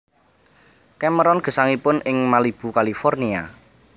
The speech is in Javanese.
Cameron gesangipun ing Malibu California